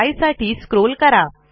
π साठी स्क्रोल करा